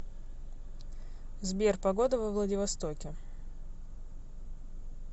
сбер погода во владивостоке